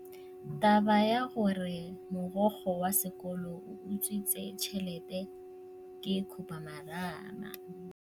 Taba ya gore mogokgo wa sekolo o utswitse tšhelete ke khupamarama.